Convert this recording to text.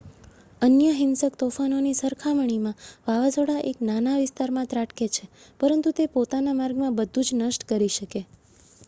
અન્ય હિંસક તોફાનોની સરખામણીમાં વાવાઝોડા એક નાના વિસ્તારમાં ત્રાટકે છે પરંતુ તે પોતાના માર્ગમાં બધું જ નષ્ટ કરી શકે